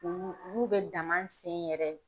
Ulu ulu bɛ dama sen yɛrɛ.